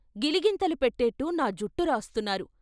గిలిగింతలు పెట్టేట్టు నా జుట్టు రాస్తున్నారు.